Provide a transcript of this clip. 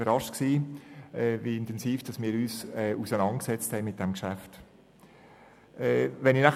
Ich war überrascht, wie intensiv wir uns mit diesem Geschäft auseinandergesetzt haben.